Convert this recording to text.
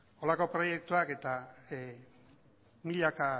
horrelako proiektuak eta milaka